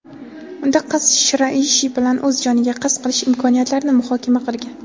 Unda qiz Shiraishi bilan o‘z joniga qasd qilish imkoniyatlarini muhokama qilgan.